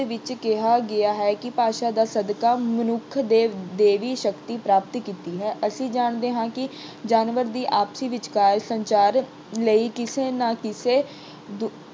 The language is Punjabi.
ਵਿੱਚ ਕਿਹਾ ਗਿਆ ਹੈ ਕਿ ਭਾਸ਼ਾ ਦੇ ਸਦਕੇ ਮਨੁੱਖ ਨੇ ਦੇਵ ਅਹ ਦੇਵੀ ਸ਼ਕਤੀ ਪ੍ਰਾਪਤ ਕੀਤੀ ਹੈ। ਅਸੀਂ ਜਾਣਦੇ ਹਾਂ ਕਿ ਜਾਨਵਰ ਦੀ ਆਪਸੀ ਵਿਚਕਾਰ ਸੰਚਾਰ ਲਈ ਕਿਸੇ ਨਾ ਕਿਸੇ